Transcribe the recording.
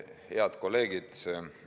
Head kolleegid!